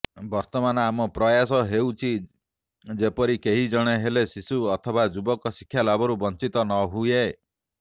ବର୍ତମାନ ଆମ ପ୍ରୟାସ ହେଉଛି ଯେପରି କେହି ଜଣେ ହେଲେ ଶିଶୁ ଅଥବା ଯୁବକ ଶିକ୍ଷାଲାଭରୁ ବଞ୍ଚିତ ନହୁଏ